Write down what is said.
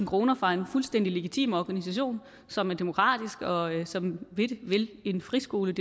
kroner fra en fuldstændig legitim organisation som er demokratisk og som vil en friskole i